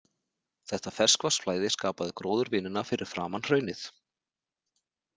Þetta ferskvatnsflæði skapaði gróðurvinina fyrir framan hraunið.